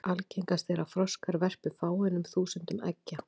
Algengast er að froskar verpi fáeinum þúsundum eggja.